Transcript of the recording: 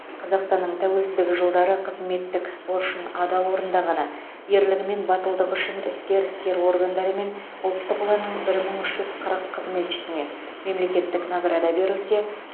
қазақстанның тәуелсіздігі жылдары қызметтік борышын адал орындағаны ерлігі мен батылдығы үшін ішкі істер органдары мен ұлттық ұланның бір мың үш жүз қызметшісіне мемлекеттік награда берілсе